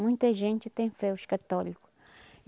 Muita gente tem fé, os católico.